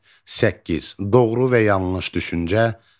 8. Doğru və yanlış düşüncə.